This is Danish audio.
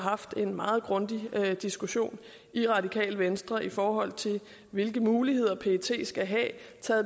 har haft en meget grundig diskussion i radikale venstre i forhold til hvilke muligheder pet skal have i